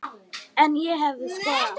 En ég hefði skoðað allt.